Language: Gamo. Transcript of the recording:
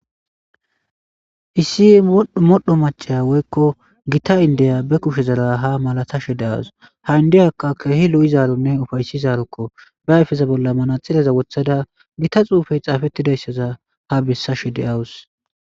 Issi modhdho modhdho machaya woykko gita indeya be kushe zara ha malatashe de'aws. Ha indiyakka keehi lo'izaaronne ufaysizaarokko ba ayfeza bolla manaxire wottada gita xuufey xaafettidayssaza ha bessashe de awus.